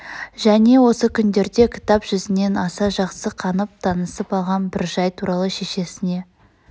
және осы күндерде кітап жүзінен аса жақсы қанып танысып алған бір жай туралы шешесне